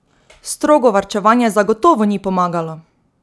Strogo varčevanje zagotovo ni pomagalo!